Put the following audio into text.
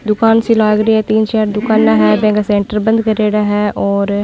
दुकान सी लाग री है तीन चार दुकान है बंद करेड़ा है और --